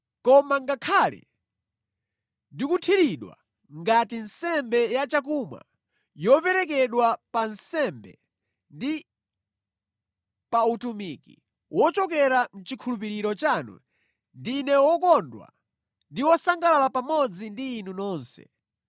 Koma ngakhale ndikuthiridwa ngati nsembe ya chakumwa yoperekedwa pa nsembe ndi pa utumiki wochokera mʼchikhulupiriro chanu, ndine wokondwa ndi wosangalala pamodzi ndi inu nonse.